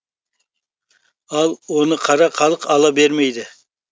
ал оны қара халық ала бермейді